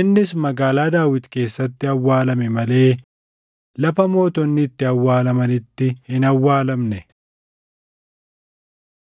innis Magaalaa Daawit keessatti awwaalame malee lafa mootonni itti awwaalamanitti hin awwaalamne.